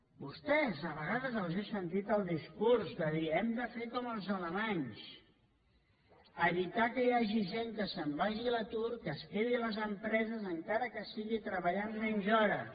a vostès a vegades els he sentit el discurs de dir hem de fer com els alemanys evitar que hi hagi gent que se’n vagi a l’atur que es quedi a les empreses encara que sigui treballant menys hores